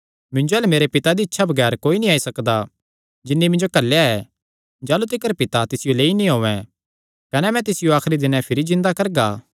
मिन्जो अल्ल मेरे पिता दी इच्छा बगैर कोई नीं आई सकदा जिन्नी मिन्जो घल्लेया ऐ जाह़लू तिकर पिता तिसियो लेई नीं औयें कने मैं तिसियो आखरी दिने भिरी जिन्दा करगा